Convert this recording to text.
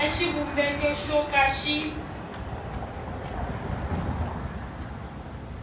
na xivumbeko xo ka xi